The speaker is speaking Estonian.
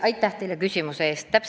Aitäh teile küsimuse eest!